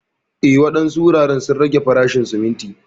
Eh, wadansu wuraren sun rage farashin sumunti.